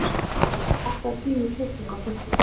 Manuel, pantaðu tíma í klippingu á fimmtudaginn.